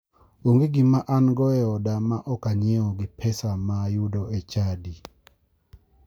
Onge gima ango e oda ma ok anyiewo gi pesa ma ayudo e chadi.